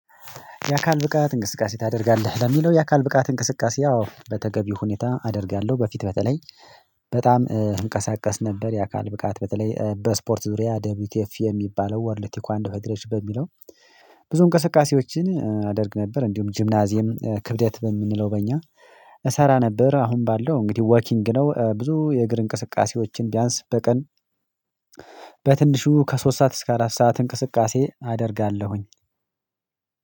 የአካል ብቃት እንቅስቃሴ ታደርጋለህ? ለሚለው የአካል ብቃት እንቅስቃሴ አዎ በተገቢው ሁኔታ አደርጋለሁ። በፊት በተለይ በጣም እንቀሳቀስ ነበር። የአካል ብቃት በተለይ በስፖርት ዙሪያ ደብሊውቲኤፍ የሚባለው ወርልድ ቴክዋንዶ ፌዴሬሽን በሚለው ብዙ እንቅስቃሴዎችን አደርግ ነበር። እንዲሁም ጂምናዚየም ክብደት በምንለው በእኛ እሰራ ነበር። አሁን ባለው እንግዲህ ወኪንግ ነው። ብዙ የእግር እንቅስቃሴዎችን ቢያንስ በቀን በትንሹ ከሶስት ሰዓት እስከ አራት ሰዓት እንቅስቃሴ አደርጋለሁኝ።